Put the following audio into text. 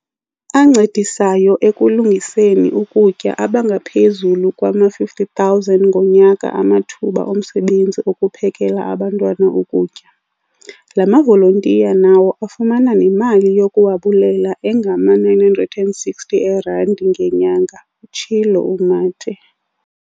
"ancedisayo ekulungiseni ukutya abangaphezulu kwama-50 000 ngonyaka amathuba omsebenzi okuphekela abantwana ukutya. La mavolontiya nawo afumana nemali yokuwabulela engama-960 eerandi ngenyanga," utshilo uMathe.